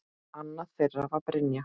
Annað þeirra var Brynja.